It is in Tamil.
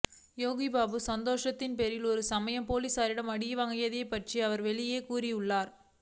யோகி பாபு சந்தேகத்தின் பேரில் ஒரு சமயம் போலீஸாரிடம் அடிவாங்கியது பற்றி அவர் வெளியே கூறியுள்ளார்